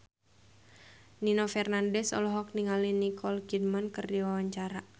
Nino Fernandez olohok ningali Nicole Kidman keur diwawancara